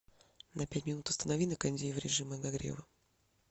на пять минут установи на кондее в режим обогрева